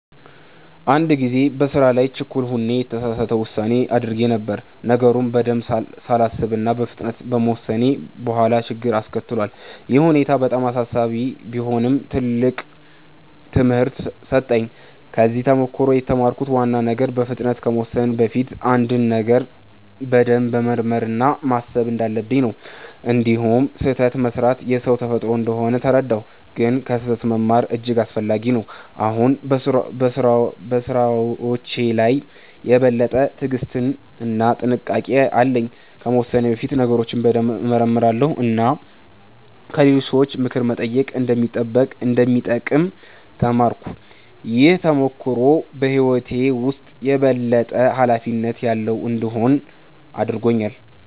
አንድ ጊዜ በስራ ላይ ችኩል ሆኜ የተሳሳት ውሳኔ አድርጌ ነበር። ነገሩን በደንብ ሳላስብ በፍጥነት በመወሰኔ በኋላ ችግር አስከትሏል። ይህ ሁኔታ በጣም አሳሳቢ ቢሆንም ትልቅ ትምህርት ሰጠኝ። ከዚህ ተሞክሮ የተማርኩት ዋና ነገር በፍጥነት ከመወሰን በፊት አንድን ነገር በደንብ መመርመር እና ማሰብ እንዳለብኝ ነው። እንዲሁም ስህተት መስራት የሰው ተፈጥሮ እንደሆነ ተረዳሁ፣ ግን ከስህተት መማር እጅግ አስፈላጊ ነው። አሁን በስራዎቼ ላይ የበለጠ ትዕግስት እና ጥንቃቄ አለኝ። ከመወሰኔ በፊት ነገሮችን በደንብ እመረምራለሁ እና ከሌሎች ሰዎች ምክር መጠየቅ እንደሚጠቅም ተማርኩ። ይህ ተሞክሮ በህይወቴ ውስጥ የበለጠ ኃላፊነት ያለው እንድሆን አድርጎኛል።